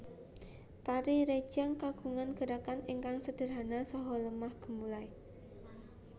Tari rejang kagungan gerakan ingkang sederhana saha lemah gemulai